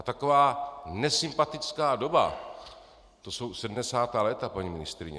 A taková nesympatická doba, to jsou sedmdesátá léta, paní ministryně.